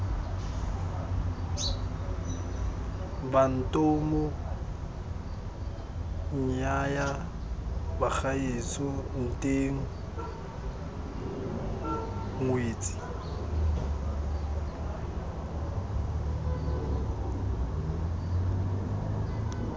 bantomo nnyaya bagaetsho nteng ngwetsi